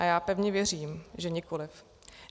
A já pevně věřím, že nikoliv.